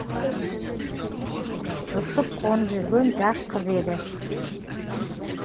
ұшып қонып жүрген жас қыз еді